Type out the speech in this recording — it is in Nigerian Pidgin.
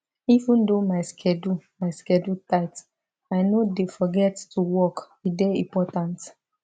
even though my schedule my schedule tight i no dey forget to walk e dey important